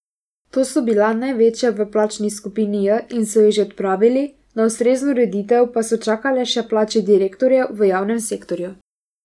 Ta so bila največja v plačni skupini J in so jih že odpravili, na ustrezno ureditev pa so čakale še plače direktorjev v javnem sektorju.